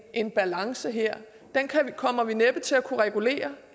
en balance her den kommer vi næppe til at kunne regulere